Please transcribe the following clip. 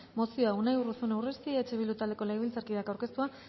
mozioa unai urruzuno urresti eh bildu taldeko legebiltzarkideak aurkeztua